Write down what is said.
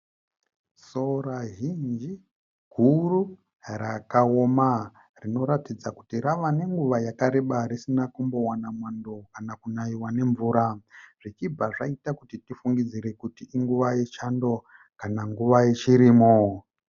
Sora zhinji, huru rakaoma rinoratidza kuti rava nenguva yakareba risina kumbowana mwando kana kunayiwa nemvura. Zvichibva zvaita kuti tifungidzire kuti inguva yechando kana nguva yechirimo.